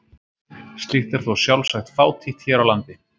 Slíkt er þó sjálfsagt fátítt hér á landi.